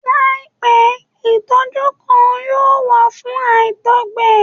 Laipẹ itọju kan yoo wa fun àtọgbẹ